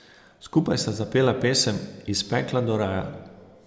Skupaj sta zapela pesem Iz pekla do raja.